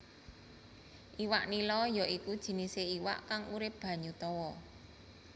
Iwak nila ya iku jinisé iwak kang urip banyu tawa